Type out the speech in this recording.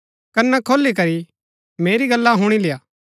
कना खोली करी मेरी गल्ला हुणी लेय्आ